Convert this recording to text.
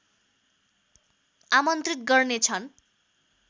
आमन्त्रित गर्ने छन्